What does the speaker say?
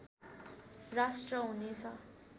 राष्ट्र हुनेछ